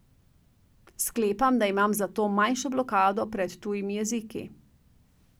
Sklepam, da imam zato manjšo blokado pred tujimi jeziki.